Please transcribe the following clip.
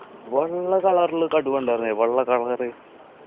വെള്ള color ൽ കടുവ ഉണ്ടാർന്നെ വെള്ള color